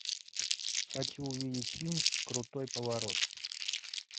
хочу увидеть фильм крутой поворот